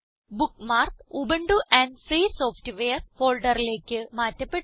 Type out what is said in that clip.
bookmark Ubuntu and free software ഫോൾഡറിലേക്ക് മാറ്റപ്പെട്ടു